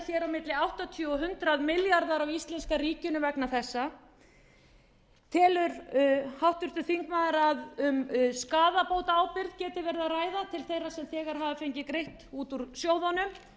á milli áttatíu og hundrað milljarðar á íslenska ríkinu vegna þessa telur háttvirtur þingmaður að um skaðabótaábyrgð geti verið að ræða til þeirra sem þegar hafa fengið greitt út úr sjóðunum telur